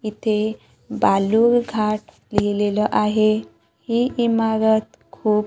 इथे बालुर घाट लिहलेलं आहे हि इमारत खूप--